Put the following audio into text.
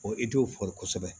i t'o fɔ kosɛbɛ